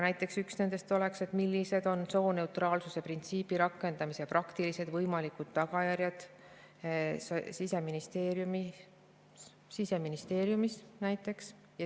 Näiteks üks nendest on, millised on sooneutraalsuse printsiibi rakendamise praktilised võimalikud tagajärjed Siseministeeriumis.